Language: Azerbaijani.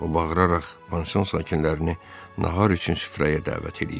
O, bağıraraq pansion sakinlərini nahar üçün süfrəyə dəvət eləyirdi.